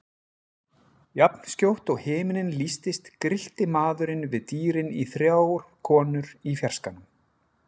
Jafnskjótt og himinninn lýstist grillti maðurinn við dýrin í þrjár konur í fjarskanum.